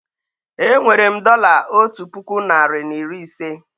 Enwere m dọla otu puku narị na iri ise